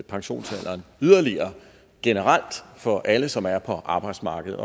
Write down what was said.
pensionsalderen yderligere generelt for alle som er på arbejdsmarkedet